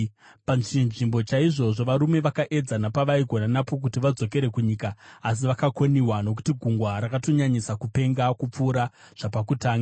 Pachinzvimbo chaizvozvo varume vakaedza napavaigona napo kuti vadzokere kunyika. Asi vakakoniwa, nokuti gungwa rakatonyanyisa kupenga kupfuura zvapakutanga.